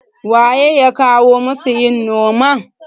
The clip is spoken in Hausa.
waye ya kawo masu yin noman?